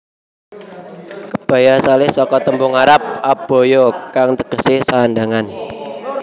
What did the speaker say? Kebaya asalé saka tembung arab abaya kang tegesé sandhangan